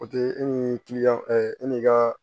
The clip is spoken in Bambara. O tɛ e ni kiliyanw e ni ka